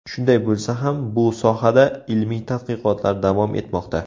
Shunday bo‘lsa ham, bu sohada ilmiy tadqiqotlar davom etmoqda.